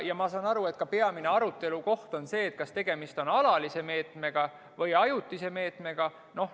Ja ma saan aru, et peamine arutelukoht on see, kas tegemist on alalise meetmega või ajutise meetmega.